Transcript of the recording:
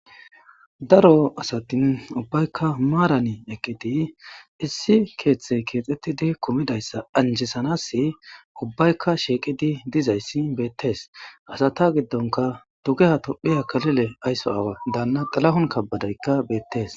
daro asatin ubbayka maarani eqqiti issi keeththey keexettidi kumidayssa anjisanasi ubbayka sheeqidi dizayssi beettees hasata giddonka tugeha tophiya kalile aysso aawa danna tilahun kabbadeykka beettees